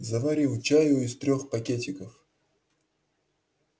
заварил чаю из трёх пакетиков